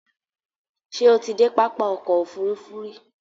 Ṣé o ti dé pápá ọkò òfurufú rí?